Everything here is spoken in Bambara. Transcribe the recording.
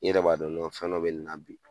I yɛrɛ b'a dɔn nɔn fɛn dɔ bɛ nin na bi